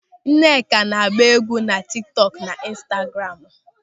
Nneka na-agba égwú na tiktok na instagramu.